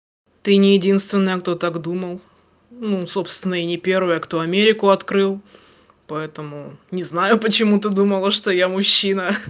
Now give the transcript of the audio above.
ты не единственная кто так думал ну собственно и не первая кто америку открыл поэтому не знаю почему ты думала что я мужчина